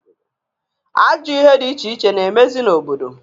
Ajọ ihe di iche iche na-emezị n'obodo.